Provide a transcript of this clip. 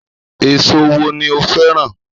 Èso wo ni o fẹ́ rà?